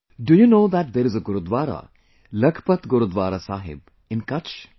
do you know that there is a Gurudwara, Lakhpat Gurudwara Sahib, in Kutch